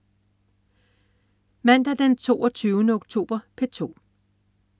Mandag den 22. oktober - P2: